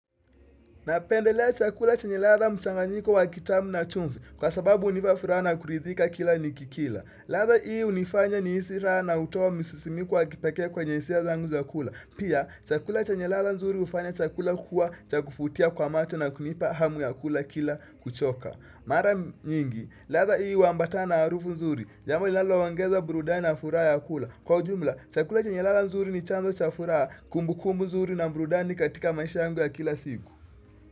Na pendelea chakula chenye ladha mchanganyiko wa kitamu na chumvi kwa sababu unipa furaha na kuridhika kila nikikila. Ladha ii unifanya niisi raha na utoa misisimiku wa kipeke kwenye hisia zangu za kula. Pia chakula chenye lala nzuri ufanya chakula kuwa chakufutia kwa macho na kunipa hamu ya kula kila kuchoka. Mara nyingi, ladha ii waambatana na arufu nzuri, jambo lilaloongeza burudani na furaha ya kula. Kwa ujumla, chakula chenye ladha nzuri ni chanzo cha furaa kumbukumbu nzuri na burudani katika maisha yangu ya kila siku.